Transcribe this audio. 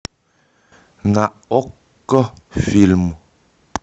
на окко фильм